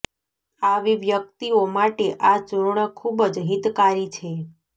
આવી વ્યક્તિઓ માટે આ ચૂર્ણ ખૂબ જ હિતકારી છે